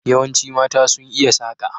Yawanci mata sun iya saka.